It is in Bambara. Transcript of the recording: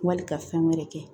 Wali ka fɛn wɛrɛ kɛ